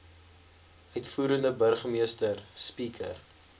uitvoerende burgemeester speaker